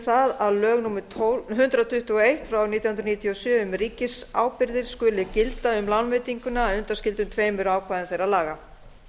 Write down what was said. það að lög númer hundrað tuttugu og eitt nítján hundruð níutíu og sjö um ríkisábyrgðir skuli gilda um lánveitinguna að undanskildum tveimur ákvæðum þeirra laga